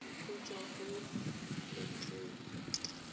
go tswa go letlole l